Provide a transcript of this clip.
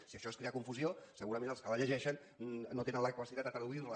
si això és crear confusió segurament els que la llegeixen no tenen la capacitat de traduir la